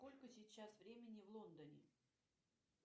сколько сейчас времени в лондоне